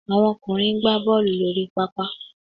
Àwọn ọkùnrin ń gbá Bọ́ọ̀lù lórí pápá